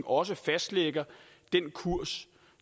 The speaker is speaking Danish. også fastlægger kursen